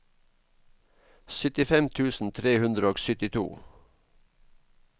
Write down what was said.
syttifem tusen tre hundre og syttito